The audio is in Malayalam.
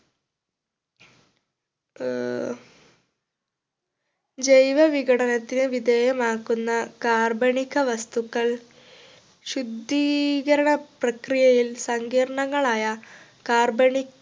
ആഹ് ജൈവ വിഘടനത്തിന് വിധേയമാക്കുന്ന കാർബണിക വസ്തുക്കൾ ശുദ്ധീകരണ പ്രക്രിയയിൽ സങ്കീർണങ്ങളായ കാർബണി